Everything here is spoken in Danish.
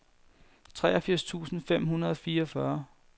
treogfirs tusind fem hundrede og fireogfyrre